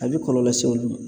A bɛ kɔlɔlɔ lase olu ma